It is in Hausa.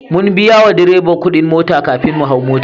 Mun biya wa direba kudin mota kafin mu hau mota.